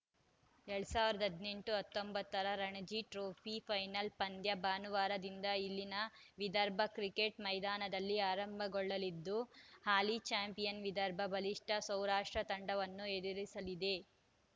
ಎರಡ್ ಸಾವಿರದ ಹದಿನೆಂಟು ಹತ್ತೊಂಬತ್ತರ ರಣಜಿ ಟ್ರೋಫಿ ಫೈನಲ್‌ ಪಂದ್ಯ ಭಾನುವಾರದಿಂದ ಇಲ್ಲಿನ ವಿದರ್ಭ ಕ್ರಿಕೆಟ್‌ ಮೈದಾನದಲ್ಲಿ ಆರಂಭಗೊಳ್ಳಲಿದ್ದು ಹಾಲಿ ಚಾಂಪಿಯನ್‌ ವಿದರ್ಭ ಬಲಿಷ್ಠ ಸೌರಾಷ್ಟ್ರ ತಂಡವನ್ನು ಎದುರಿಸಲಿದೆ